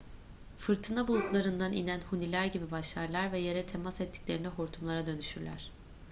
fırtına bulutlarından inen huniler gibi başlarlar ve yere temas ettiklerinde hortumlar"a dönüşürler